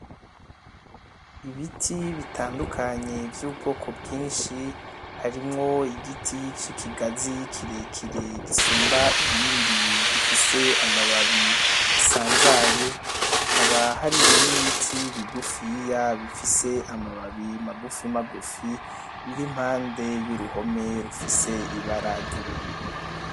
Ibiti bitandukanye vy’ubwoko bwinshi, harimwo igiti c’ikigazi kirekire gisumba ibindi, gifise amababi asanzaye, hakaba hari n’ibiti bigufiya bifise amababi magufimagufi biri impande y’uruhome rufise ibara ry’ubururu.